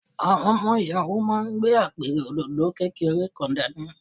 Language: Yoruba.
Àwọn ọmọ Ìyàwó máa gbé Apẹ̀rẹ̀ òdòdó kékeré kan dání.